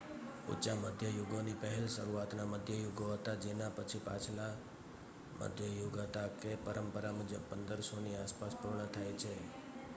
ઊચા મધ્ય યુગોની પહેલા શરૂઆતના મધ્ય યુગો હતા જેના પછી પાછલા મધ્ય યુગ હતા કે પરંપરા મુજબ 1500ની આસપાસ પૂર્ણ થાય છે